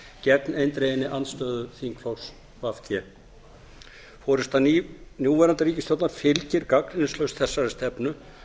gegn eindreginni andstöðu þingflokks v g forusta núverandi ríkisstjórnar fylgir gagnrýnislaust þessari stefnu